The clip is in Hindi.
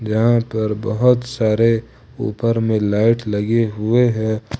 यहां पर बहोत सारे ऊपर में लाइट लगे हुए हैं।